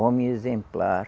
Homem exemplar,